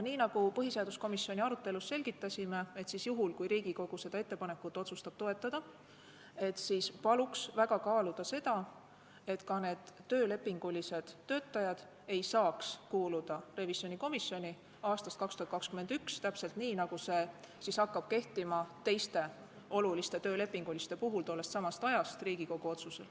Nii nagu me põhiseaduskomisjoni arutelul selgitasime, kui Riigikogu otsustab seda ettepanekut toetada, paluks väga kaaluda seda, et ka need töölepingulised töötajad ei saaks aastast 2021 kuuluda revisjonikomisjoni, täpselt nii, nagu see hakkab Riigikogu otsusel kehtima tollestsamast ajast teiste oluliste töölepinguliste inimeste puhul.